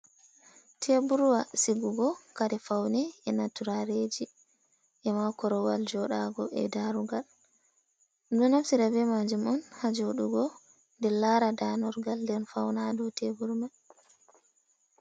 Teburwa sigugo Kari faune, e ma turareji, e makorowal joɗago, e darugal, ɗum ɗo naftira be majum on ha joɗugo de lara danorgal nden fauna ha dou teburu man.